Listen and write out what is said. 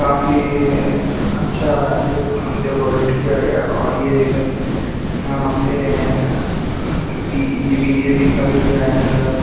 काफी अच्छा deco decorate किया गया है और ये यहां पे अह बीज बी_जे_पी का भी बैनर लगा--